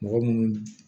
Mɔgɔ munnu